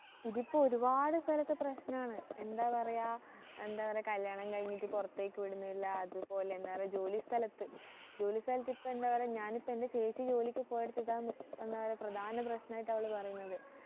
ഇതിപ്പോ ഒരുപാട് സ്ഥലത്തു പ്രശ്നാണ് എന്താ പറയാ എന്താ പറയാ കല്യാണം കഴിഞ്ഞിട്ട് പുറത്തേക്ക് വിടുന്നില്ല അത് പോലെ എന്താണ് ജോലി സ്ഥലത്ത് ജോലി സ്ഥലത്ത് ഇപ്പൊ എന്താ പറയാ ഞാനിപ്പോ എൻ്റെ ചേച്ചി ജോലിക്ക് പോയടുത്ത് ഇപ്പൊ ഇതാണ് എന്താ പറയാ പ്രധാന പ്രശ്നായിട്ടു അവള് പറയുന്നത്